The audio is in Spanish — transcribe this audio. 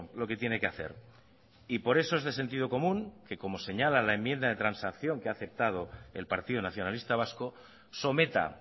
lo que tiene que hacer y por eso es de sentido común que como señala la enmienda de transacción que ha aceptado el partido nacionalista vasco someta